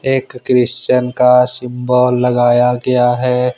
एक क्रिश्चियन का सिंबल लगाया गया है।